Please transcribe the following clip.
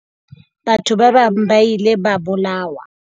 Batho ba bang ba ile ba bolawa.